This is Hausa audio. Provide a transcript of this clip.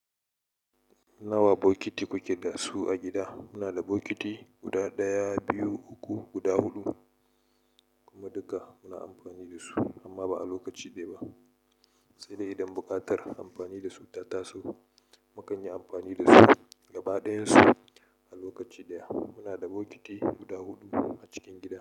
Nawa bokiti kuke da su a gida? Muna da bokiti guda ɗaya, biyu, uku, guda huɗu, kuma duka muna amfani da su, amma ba a lokaci ɗaya ba. Sai dai idan buƙatar amfani da su ta taso, mukanyi amfani da su gaba ɗayan su a lokaci ɗaya. Muna da bokiti guda huɗu a cikin gida.